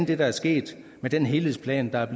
det der er sket med den helhedsplan der er